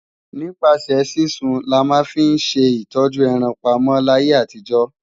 Nípasẹ̀ sísun là máa ń fi ṣe ìtọ́jú ẹran pamọ́ láyé àtijó.